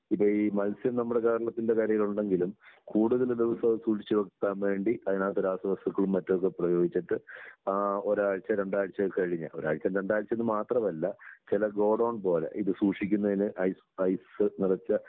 ഇപ്പൊ ഈ മത്സ്യം നമ്മുടെ കേരളത്തിന്റെ കരയിൽ ഉണ്ടെങ്കിലും കൂടുതൽ ദിവസവും സൂക്ഷിച്ച് വയ്ക്കാൻ വേണ്ടി അതിനകത്ത് രാസവസ്തുക്കളും മറ്റും ഒക്കെ പ്രയോഗിച്ചിട്ട് ആ ഒരാഴ്ച്ച, രണ്ടാഴ്ചയൊക്കെ കഴിഞ്ഞ് ഒരാഴ്ച രണ്ടാഴ്ച്ചയെന്ന് മാത്രമല്ല ചില ഗോഡൗൺ പോലെ ഇത് സൂക്ഷിക്കുന്നതിന് ഐസ്, ഐസ് നിറച്ച